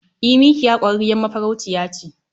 E, mikiya kwarrarriyar mafarauciya ce.